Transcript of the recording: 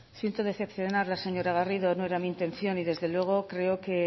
siento decepcionarla señora garrido no era mi intención y desde luego creo que